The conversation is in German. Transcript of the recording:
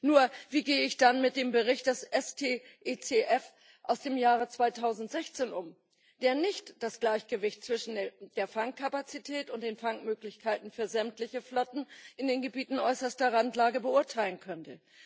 Nur, wie gehe ich dann mit dem Bericht des STECF aus dem Jahr 2016 um, der nicht das Gleichgewicht zwischen der Fangkapazität und den Fangmöglichkeiten für sämtliche Flotten in den Gebieten äußerster Randlage beurteilen konnte.